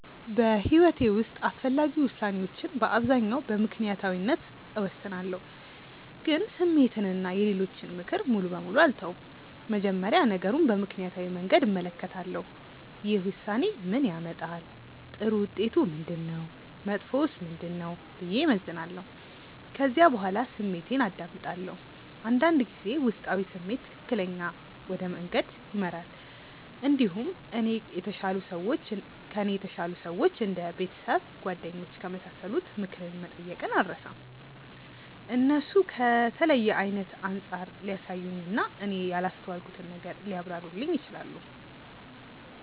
በሕይወቴ ውስጥ አስፈላጊ ውሳኔዎችን በአብዛኛው በምክንያታዊነት እወስናለሁ፣ ግን ስሜትን እና የሌሎችን ምክር ሙሉ በሙሉ አልተውም። መጀመሪያ ነገሩን በምክንያታዊ መንገድ እመለከታለሁ። ይህ ውሳኔ ምን ያመጣል? ጥሩ ውጤቱ ምንድነው? መጥፎውስ ምንድነው? ብዬ እመዝናለሁ። ከዚያ በኋላ ስሜቴን አዳምጣለሁ። አንዳንድ ጊዜ ውስጣዊ ስሜት ትክክለኛ ወደ መንገድ ይመራል። እንዲሁም ከእኔ የተሻሉ ሰዎች እንደ ቤተሰብ፣ ጓደኞች ከመሳሰሉት ምክር መጠየቅን አልርሳም። እነሱ ከተለየ አይነት አንጻር ሊያሳዩኝ እና እኔ ያላስተዋልኩትን ነገር ሊያብራሩልኝ ይችላሉ።